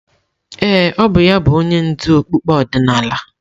Ee, ọ bụ ya bụ onye ndú okpukpe ọdịnala.